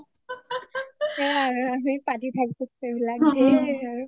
সেইয়াই আৰু আমি পাতি থাকোঁ সেইবিলাক ধেৰ